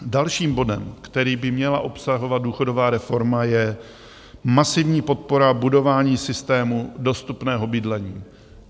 Dalším bodem, který by měla obsahovat důchodová reforma, je masivní podpora budování systému dostupného bydlení.